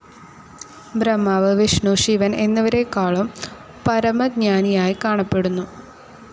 ബ്രഹ്മാവ്, വിഷ്ണു, ശിവ ൻ എന്നിവരേക്കാളും പരമജ്ഞാനിയായി കാണപ്പെടുന്നു.